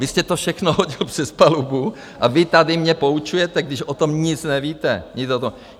Vy jste to všechno hodil přes palubu a vy tady mě poučujete, když o tom nic nevíte.